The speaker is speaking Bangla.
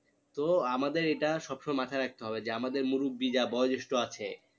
তো আমাদের এটা সব সময় মাথায় রাখতে হবে যে আমাদের মুরুব্বি যারা বয়ঃজেষ্ঠ আছে